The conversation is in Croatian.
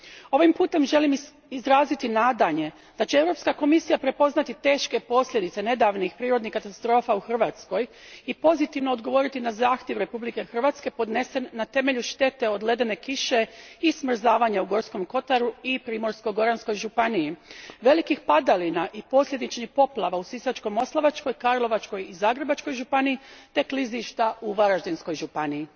Ovim putem želim izraziti nadanje da će Europska komisija prepoznati teške posljedice nedavnih prirodnih katastrofa u Hrvatskoj i pozitivno odgovoriti na zahtjev Republike Hrvatske podnesen na temelju štete od ledene kiše i smrzavanja u Gorskom kotaru i Primorsko goranskoj županiji, velikih padalina i posljedičnih poplava u Sisačko moslavačkoj, Karlovačkoj i Zagrebačkoj županiji te klizišta u Varaždinskoj županiji.